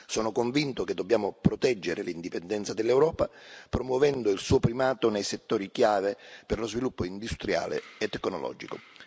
Sono convinto che dobbiamo proteggere l'indipendenza dell'Europa, promuovendo il suo primato nei settori chiave per lo sviluppo industriale e tecnologico.